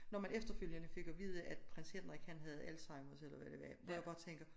Når man efterfølgende fik at vide at Prins Henrik han havde alzheimers eller hvad det var hvor jeg bare tænker